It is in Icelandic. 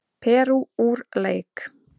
Perú úr leik